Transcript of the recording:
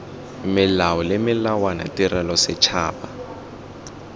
melao le melawana tirelo setšhaba